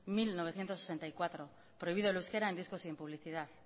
mil novecientos sesenta y cuatro prohibido el euskera en discos y en publicidad